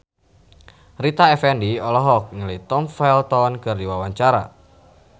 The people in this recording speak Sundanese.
Rita Effendy olohok ningali Tom Felton keur diwawancara